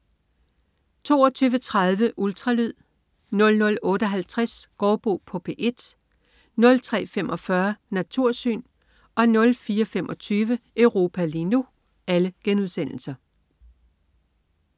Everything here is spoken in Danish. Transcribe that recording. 22.30 Ultralyd* 00.58 Gaardbo på P1* 03.45 Natursyn* 04.25 Europa lige nu*